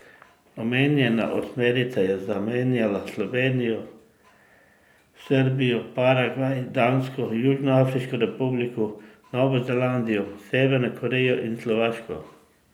Omenjena osmerica je zamenjala Slovenijo, Srbijo, Paragvaj, Dansko, Južnoafriško republiko, Novo Zelandijo, Severno Korejo in Slovaško.